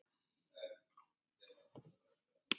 Þið voruð alltaf einstök saman.